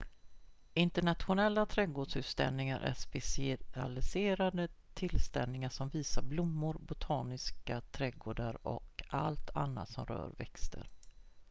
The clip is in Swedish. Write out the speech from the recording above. internationella trädgårdsutställningar är specialiserade tillställningar som visar blommor botaniska trädgårdar och allt annat som rör växter